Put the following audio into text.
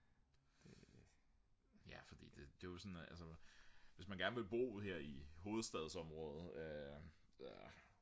ja fordi det er jo hvis man gerne vil bo her i hovedstadsområdet